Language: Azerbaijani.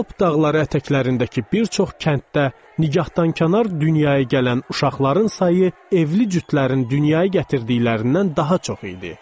Alp dağları ətəklərindəki bir çox kənddə nigahdankənar dünyaya gələn uşaqların sayı evli cütlərin dünyaya gətirdiklərindən daha çox idi.